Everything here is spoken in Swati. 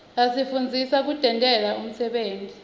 asifundzisa kutentela umsebenti